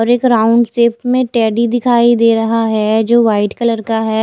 और एक round shape में टेडी दिखाई दे रहा है जो वाइट कलर का है।